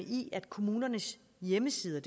i at kommunernes hjemmesider